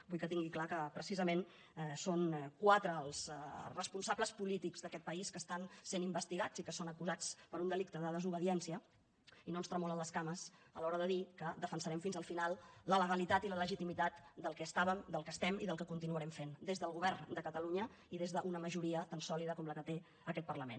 vull que tingui clar que precisament són quatre els responsables polítics d’aquest país que estan sent investigats i que són acusats per un delicte de desobediència i no ens tremolen les cames a l’hora de dir que defensarem fins al final la legalitat i la legitimitat del que estàvem del que estem i del que continuarem fent des del govern de catalunya i des d’una majoria tan sòlida com la que té aquest parlament